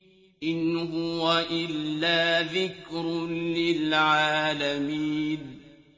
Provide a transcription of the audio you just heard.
إِنْ هُوَ إِلَّا ذِكْرٌ لِّلْعَالَمِينَ